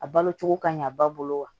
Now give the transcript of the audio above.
A balo cogo ka ɲa ba bolo wa